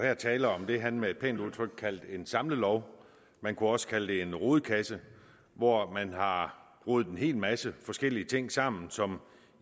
her tale om det han med et pænt udtryk kaldte en samlelov man kunne også kalde det en rodekasse hvor man har rodet en hel masse forskellige ting sammen som